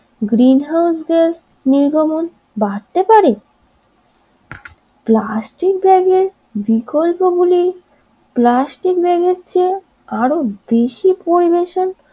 green house gas নির্গমন বাড়তে পারে প্লাস্টিক ব্যাগের বিকল্প গুলি প্লাস্টিক ব্যাগের চেয়ে আরো বেশি পরিবেশন